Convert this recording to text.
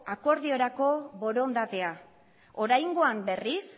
akordiorako borondatea oraingoan berriz